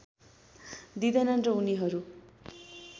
दिँदैनन् र उनीहरू